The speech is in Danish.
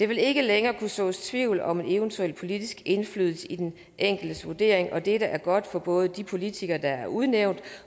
vil ikke længere kunne sås tvivl om eventuel politisk indflydelse i den enkeltes vurdering og dette er godt for både de politikere der er udnævnt